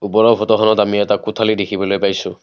ওপৰৰ ফটোখনত আমি এটা কোঠালি দেখিবলৈ পাইছোঁ।